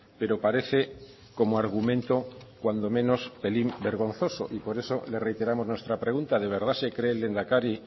pero parece como argumento cuando menos pelín vergonzoso y por eso le reiteramos nuestra pregunta de verdad se cree el lehendakari